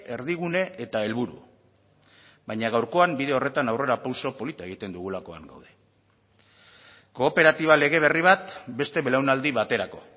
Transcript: erdigune eta helburu baina gaurkoan bide horretan aurrerapauso polita egiten dugulakoan gaude kooperatiba lege berri bat beste belaunaldi baterako